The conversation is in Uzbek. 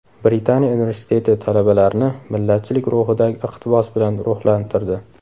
Britaniya universiteti talabalarni millatchilik ruhidagi iqtibos bilan ruhlantirdi.